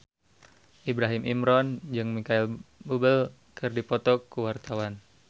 Ibrahim Imran jeung Micheal Bubble keur dipoto ku wartawan